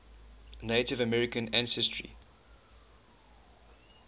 native american ancestry